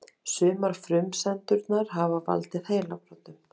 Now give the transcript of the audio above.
Á flugvelli þarf fólk oftar en ekki að doka við.